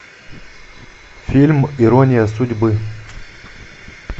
фильм ирония судьбы